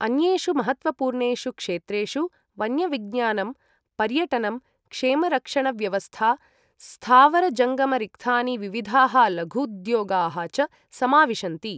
अन्येषु महत्त्वपूर्णेषु क्षेत्रेषु वन्यविज्ञानम्, पर्यटनं, क्षेमरक्षणव्यवस्था, स्थावरजङ्गमरिक्थानि, विविधाः लघूद्योगाः च समाविशन्ति।